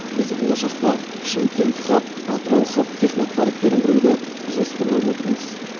біз болашақта шымкент хаб атырау хаб технопарктерін құруды жоспарлап отырмыз